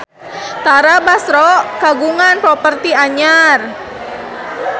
Tara Basro kagungan properti anyar